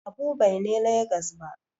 Habu Bai ne Legas ba